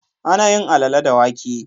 Ana yin Alalle da wake.